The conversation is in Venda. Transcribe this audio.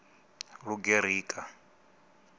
lugerika